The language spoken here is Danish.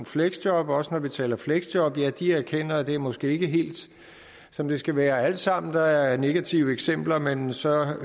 fleksjob også når vi taler fleksjob erkender at det måske ikke er helt som det skal være alt sammen der er negative eksempler men så